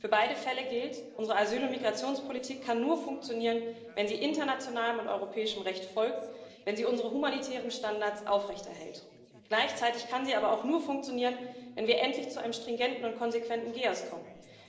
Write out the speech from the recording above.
Für beide Fälle gilt Unsere Asyl und Migrationspolitik kann nur funktionieren, wenn sie internationalem und europäischem Recht folgt, wenn sie unsere humanitären Standards aufrechterhält. Gleichzeitig kann sie aber auch nur funktionieren, wenn wir endlich zu einem stringenten und konsequenten GEAS kommen.